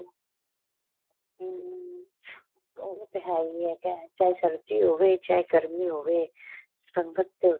ਹਮ ਉਹ ਤੇ ਏਹ ਹੀ ਏ ਚਾਹੇ ਸਰਦੀ ਹੋਵੇ ਚਾਹੇ ਗਰਮੀਂ ਹੋਵੇ ਸੰਗਤ ਤੇ